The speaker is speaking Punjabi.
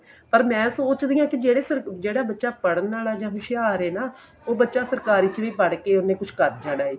ਪਰ ਮੈਂ ਸੋਚ ਰਹੀ ਆ ਕੀ ਜਿਹੜੇ ਸਰ ਜਿਹੜਾ ਬੱਚਾ ਪੜਣ ਵਾਲਾ ਜਾਂ ਹੋਸ਼ਿਆਰ ਏ ਨਾ ਉਹ ਬੱਚਾ ਸਰਕਾਰੀ ਚ ਵੀ ਪੜ੍ਹ ਕੇ ਉਨੇ ਕੁੱਝ ਕਰ ਜਾਣਾ ਏ